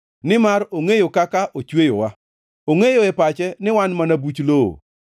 nimar ongʼeyo kaka ochweyowa, ongʼeyo e pache ni wan mana buch lowo.